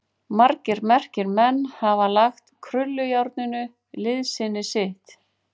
Margir merkir menn hafa lagt krullujárninu liðsinni sitt.